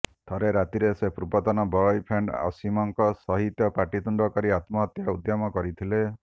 ଥରେ ରାତିରେ ସେ ପୂର୍ବତନ ବୟଫ୍ରେଣ୍ଡ ଅସୀମଙ୍କ ସହିତ ପାଟିତୁଣ୍ଡ କରି ଆତ୍ମହତ୍ୟା ଉଦ୍ୟମ କରି ଥିଲେ